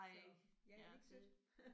Så er det ikke sødt